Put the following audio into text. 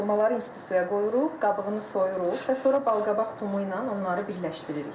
Xurmaları institusiya qoyuruq, qabığını soyuruq və sonra balqabaq tumu ilə onları birləşdiririk.